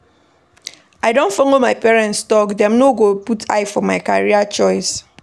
I don folo my parents tok, dem no go put eye for my career choice.